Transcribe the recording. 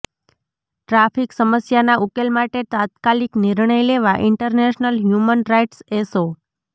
traffic સમસ્યાના ઉકેલ માટે તાત્કાલિક નિર્ણય લેવા ઈન્ટરનેશનલ હ્યુમન રાઈટ્સ એસો